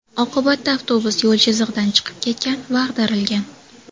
Oqibatda avtobus yo‘l chizig‘idan chiqib ketgan va ag‘darilgan.